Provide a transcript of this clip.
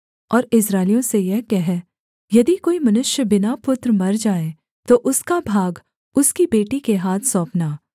और इस्राएलियों से यह कह यदि कोई मनुष्य बिना पुत्र मर जाए तो उसका भाग उसकी बेटी के हाथ सौंपना